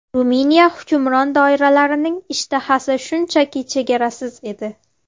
Ruminiya hukmron doiralarining ishtahasi shunchaki chegarasiz edi.